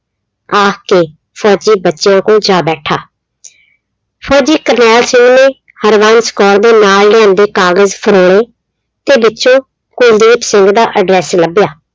ਆਖ ਕੇ ਫ਼ੌਜੀ ਬੱਚਿਆਂ ਕੋਲ ਜਾ ਬੈਠਾ ਫ਼ੌਜੀ ਕਰਨੈਲ ਸਿੰਘ ਨੇ ਹਰਬੰਸ ਕੌਰ ਦੇ ਨਾਲ ਲਿਆਂਦੇ ਕਾਗਜ਼ ਫਰੋਲੇ ਤੇ ਵਿੱਚੋਂ ਕੁਲਦੀਪ ਸਿੰਘ ਦਾ address ਲੱਭਿਆ